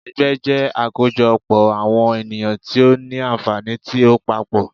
Ẹgbẹ́ jẹ́ àkójọ pọ̀ àwọn ènìyàn tí ó ní ànfàní tí ó papọ̀.